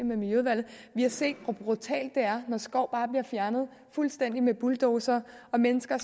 med miljøudvalget har set hvor brutalt det er når skov bare bliver fjernet fuldstændigt med bulldozere og mennesker